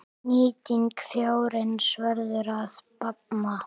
Nýting fjárins verður að batna.